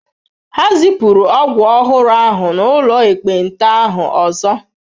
Ha zipụrụ ọgwụ ọhụrụ ahụ n'ụlọ ekpenta ahụ ọzọ.